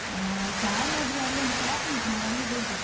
ಹಾ saree ಆದ್ರೆ ಅಲ್ಲಿ ಒಂದು shop ಉಂಟು, ನಾವ್ ಅಲ್ಲಿಗೆ ಹೋಗುವ.